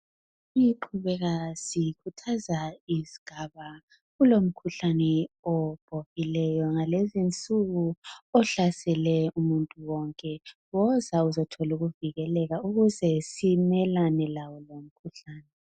Siqhubeka sikhuthaza izigaba kulomkhuhlane obhohileyo ngalezi insuku ohlasele umuntu wonke. Woza uzothola ukuvikeleka ukuze simelane lawo lowu umkhuhlane